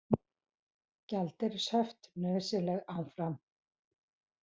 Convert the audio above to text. Gjaldeyrishöft nauðsynleg áfram